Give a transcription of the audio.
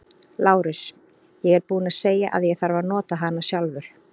LÁRUS: Ég er búinn að segja að ég þarf að nota hana sjálfur.